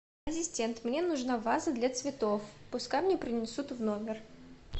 ассистент мне нужна ваза для цветов пускай мне принесут в номер